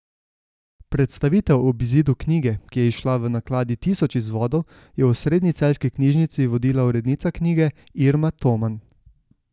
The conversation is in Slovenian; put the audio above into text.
Predstavitev ob izidu knjige, ki je izšla v nakladi tisoč izvodov, je v osrednji celjski knjižnici vodila urednica knjige Irma Toman.